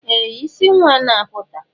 Ee! Isi nwa na-apụta.